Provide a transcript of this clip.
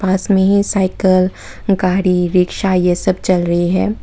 पास में ही साइकल गाड़ी रिक्शा ये सब चल रही है।